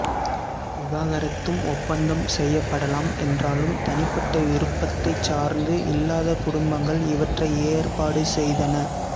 விவாகரத்தும் ஒப்பந்தம் செய்யப்படலாம் என்றாலும் தனிப்பட்ட விருப்பத்தை சார்ந்து இல்லாத குடும்பங்கள் இவற்றை ஏற்பாடு செய்தன